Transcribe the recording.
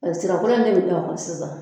Ɔ sirakolo in bɛ yelen ka ban sisan.